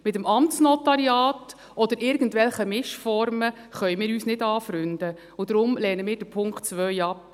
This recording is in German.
Mit dem Amtsnotariat oder irgendwelchen Mischformen können wir uns nicht anfreunden und lehnen deshalb den Punkt 2 ab.